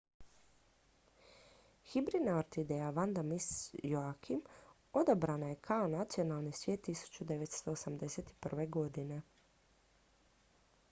hibridna orhideja vanda miss joaquim odabrana je kao nacionalni cvijet 1981. godine